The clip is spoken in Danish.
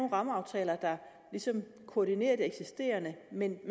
rammeaftaler der ligesom koordinerer det eksisterende men